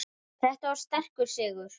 Þetta var sterkur sigur.